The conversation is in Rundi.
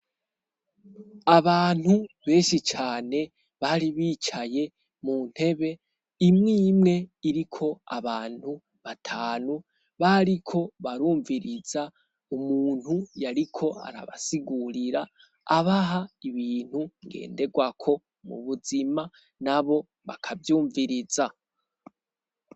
Abantu benshi cane bari bicaye mu ntebe, imwe imwe iriko abantu batanu. Bariko barumviriza umuntu yariko arabasigurira abaha ibintu ngenderwako mu buzima nabo bakavyumviriza.